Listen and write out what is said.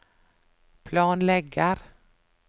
planlegger